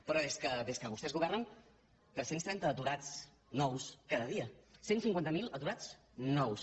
però és que des que vostès governen tres cents i trenta aturats nous casa dia cent i cinquanta miler aturats nous